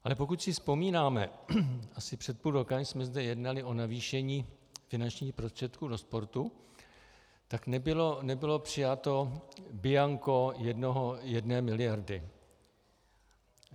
Ale pokud si vzpomínáme, asi před půl rokem jsme zde jednali o navýšení finančních prostředků do sportu, tak nebylo přijato bianko jedné miliardy.